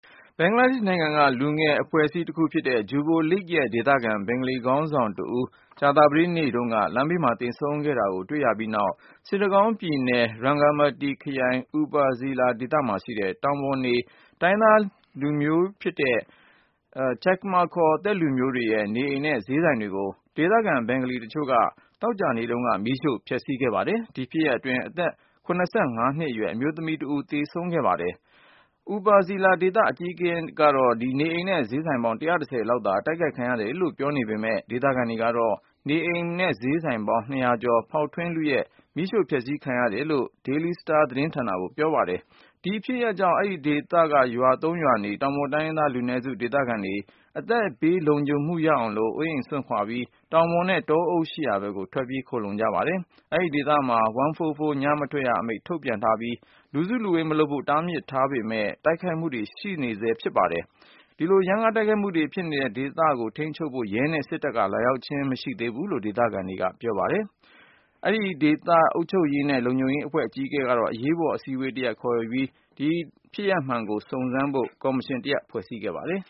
ဘင်္ဂလားဒေ့ရှ်နိုင်ငံက လူငယ်အဖွဲ့အစည်းတခုဖြစ်တဲ့ Jubo League ရဲ့ဒေသခံ ဘင်္ဂလီခေါင်းဆောင်တဦး ကြာသပတေးနေ့တုန်းက လမ်းဘေးမှာ သေဆုံးနေတာ တွေ့ခဲ့ရပြီးနောက် စစ်တကောင်းပြည်နယ် Rangamati ခရိုင်၊ Upazila အူပါဇီလာ ဒေသမှာရှိတဲ့ တောင်ပေါ်နေ တိုင်းရင်းသားတမျိုးဖြစ်တဲ့ Chakma ချက်ကမာ ခေါ် သက်လူမျိုးတွေရဲ့ နေအိမ်တွေနဲ့ ဈေးဆိုင်တွေကို ဒေသခံဘင်္ဂါလီတချို့က သောကြာနေ့တုန်းက မီးရှို့ ဖျက်ဆီးခဲ့ပါတယ်။ ဒီဖြစ်ရပ်အတွင်း အသက်(၇၅)နှစ်အရွယ် အမျိုးသမီးတဦး သေဆုံးခဲ့တယ်လို့ Bangla Tribune သတင်းစာက ရေးပါတယ်။ အူပါဇီလာဒေသ အကြီးအကဲက နေအိမ်နဲ့ဈေးဆိုင်ပေါင်း(၁၁၀)လောက် အတိုက်ခိုက် ခံရတယ်လို့ ပြောနေပေမယ့် ဒေသခံတွေကတော့ နေအိမ်-ဈေးဆိုင်(၂၀၀)ကျော် ဖေါက်ထွင်းလုယူ မီးရှို့ဖျက်ဆီးခံရတယ်လို့ ပြောကြောင်း Daily Star သတင်းမှာ ဖေါ်ပြပါတယ်။ ဒီဖြစ်ရပ်ကြောင့် အဲဒီဒေသက ကျေးရွာ ၃ရွာနေ တောင်ပေါ်တိုင်းရင်းသား လူနည်းစု ဒေသခံမိသားစုတွေကတော့ အသက်ဘေး လုံခြုံမှုရအောင်လို့ အိုးအိမ်တွေစွန့်ပြီး တောင်ပေါ်နဲ့ တောအုပ်တွေ ရှိရာဖက်ကို ထွက်ပြေး ခိုလှုံသွားကြပါတယ်။ အဲဒီဒေသတဝိုက်မှာ 144 ညမထွက်ရအမိန့် ထုတ်ထားပြီး လူစုလူဝေး မလုပ်ကြဖို့ တားမြစ်ထားပေမယ့် တိုက်ခိုက်မှုတချို့ဆက်ရှိနေဆဲဖြစ်ပါတယ်။ ဒီလို ရမ်းကား တိုက်ခိုက်မှုတွေ ဖြစ်နေပေမယ့် အဲဒီဒေသကို အခြေအနေထိန်းသိမ်းဖို့ ရဲနဲ့စစ်တပ်က လာရောက်တာမျိုး မတွေ့ရသေးဘူးလို့ ဒေသခံတွေ ပြောပါတယ်။ အူပါဇီလာဒေသ အုပ်ချုပ်ရေးနဲ့ လုံခြုံရေးအဖွဲ့ရဲ့ အကြီးအကဲတဦးက အရေးပေါ် အစည်း အဝေးတရပ် ခေါ်ယူခဲ့ပြီး ဒီတိုက်ခိုက်မှု ဖြစ်ရပ်မှန် ပေါ်ပေါက်ရေးအတွက် လူ ၃ဦးပါတဲ့ စုံစမ်းရေးကော်မရှင် တရပ်ကို ဖွဲ့စည်းခဲ့ပါတယ်